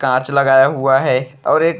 कांच लगाया हुआ है और एक --